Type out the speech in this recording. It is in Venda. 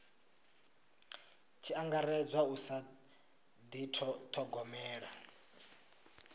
tshi angaredzwa u sa dithogomela